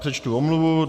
Přečtu omluvu.